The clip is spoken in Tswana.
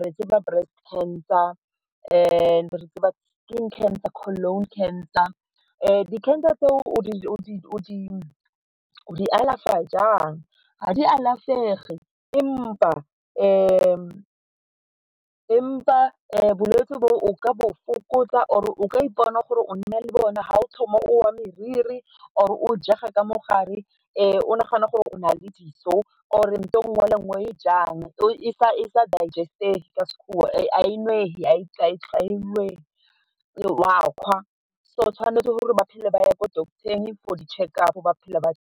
re tseba breast cancer, re tseba skin cancer, colon cancer. Di-cancer tseo o di alafa jang, ga di alafege empa bolwetse bo o ka bo fokotsa or o ka ipona gore o nna le bone ga o thoma o wa moriri or o jega ka mo gare o nagana gore o na le diso or ntho e nngwe le e nngwe e o ejang e sa e sa digest-ge ka sekgoa, ga e nwege , o a kgwa so tshwanetse gore ba phele ba ye ko doctor-eng for di-checkup gore ba phele ba.